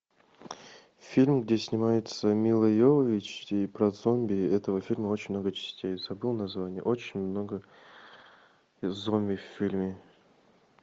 фильм где снимается мила йовович про зомби этого фильма очень много частей забыл название очень много зомби в фильме